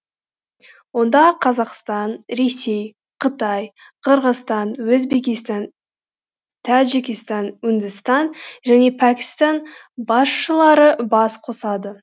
онда қазақстан ресей қытай қырғызстан өзбекстан тәжікстан үндістан және пәкістан басшылары бас қосады